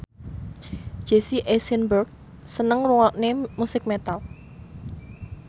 Jesse Eisenberg seneng ngrungokne musik metal